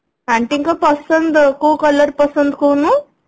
ହୁଁ Aunty ଙ୍କ ପସନ୍ଦ କୋଉ colour ପସନ୍ଦ କହୁନୁ